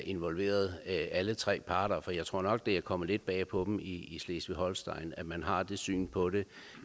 involveret alle tre parter jeg tror nok det er kommet lidt bag på dem i slesvig holsten at man har det syn på det